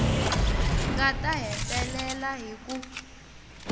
nga ta hetelela hi ku